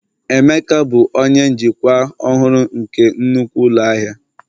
Emeka bụ onye njikwa ọhụrụ nke nnukwu ụlọ ahịa